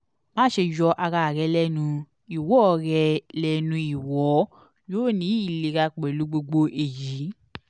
maṣe yọ ara rẹ lẹnu iwọ rẹ lẹnu iwọ yoo ni ilera pẹlu gbogbo eyi